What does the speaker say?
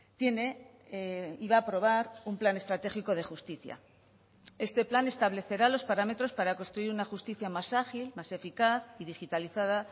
tiene y va a aprobar un plan estratégico de justicia este plan establecerá los parámetros para construir una justicia más ágil más eficaz y digitalizada